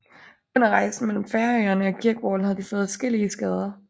Under rejsen mellem Færøerne og Kirkwall havde de fået adskillige skader